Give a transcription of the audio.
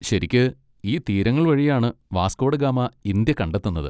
ശരിക്ക്, ഈ തീരങ്ങൾ വഴിയാണ് വാസ്ക്കോ ഡ ഗാമ ഇന്ത്യ കണ്ടെത്തുന്നത്.